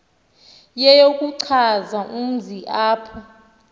yeyokuchaza umzi apho